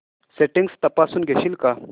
settings तपासून घेशील का